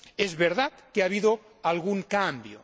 Es verdad que ha habido algún cambio.